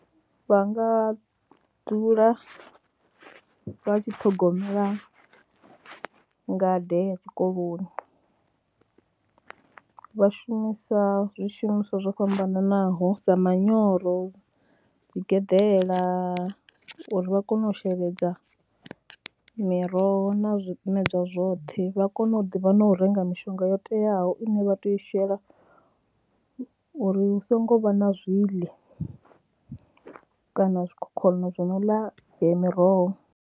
Vha nga dzula vha tshi ṱhogomela ngade ya tshikoloni vha shumisa zwishumiswa zwo fhambananaho sa manyoro, dzi geḓela uri vha kone u sheledza miroho na zwimedzwa zwoṱhe, vha kone u ḓivha na u renga mishonga yo teaho ine vha tea u shela uri hu songo vha na zwiḽi kana zwikhokhonono zwi no ḽa miroho.